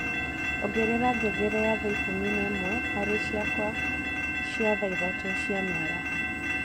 ongerera ngengere ya thaa ikumi na imwe hari cikwa cia thaa ithatũ cia mĩaraho